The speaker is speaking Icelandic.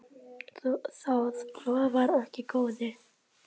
Það lofar ekki góðu.